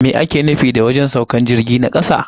Me ake nufi da wajen saukan jirgi na kasa?